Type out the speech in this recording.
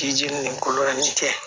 Jiji nin ko nin tɛ